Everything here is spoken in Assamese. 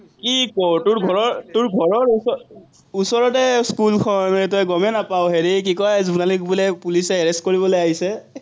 কি ক, তোৰ ঘৰৰ, তোৰ ঘৰৰ ওচৰৰ, ওচৰতে স্কুলখন, তই গমেই নাপাৱ, হেৰি কি কয়, জোনালীক বোলে পুলিচে arrest কৰিবলে আহিছে।